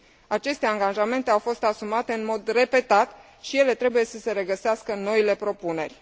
Aceste angajamente au fost asumate în mod repetat și ele trebuie să se regăsească în noile propuneri.